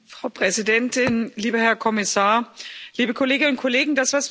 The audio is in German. Frau Präsidentin, lieber Herr Kommissar, liebe Kolleginnen und Kollegen!